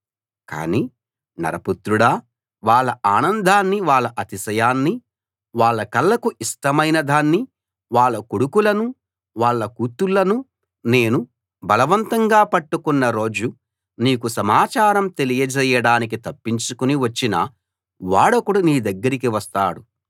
కాని నరపుత్రుడా వాళ్ళ ఆనందాన్నీ వాళ్ళ అతిశయాన్నీ వాళ్ళ కళ్ళకు ఇష్టమైనదాన్నీ వాళ్ళ కొడుకులనూ వాళ్ళ కూతుళ్ళనూ నేను బలవంతంగా పట్టుకున్న రోజు నీకు సమాచారం తెలియజేయడానికి తప్పించుకుని వచ్చిన వాడొకడు నీదగ్గరికి వస్తాడు